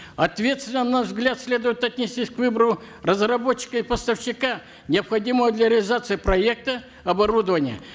ответственно на наш взгляд следует отнестись к выбору разработчика и поставщика необходимого для реализации проекта оборудования